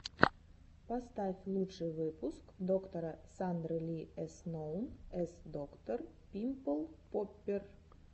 поставь лучший выпуск доктора сандры ли эс ноун эс доктор пимпл поппер